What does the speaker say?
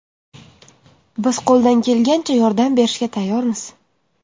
Biz qo‘ldan kelgancha yordam berishga tayyormiz”.